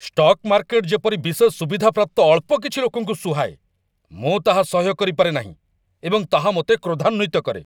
stock market ଯେପରି ବିଶେଷ ସୁବିଧାପ୍ରାପ୍ତ ଅଳ୍ପ କିଛି ଲୋକଙ୍କୁ ସୁହାଏ, ମୁଁ ତାହା ସହ୍ୟ କରିପାରେ ନାହିଁ ଏବଂ ତାହା ମୋତେ କ୍ରୋଧାନ୍ୱିତ କରେ